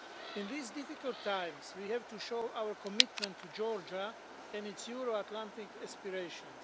In these difficult times we have to show our commitment to Georgia and its Euro Atlantic aspirations.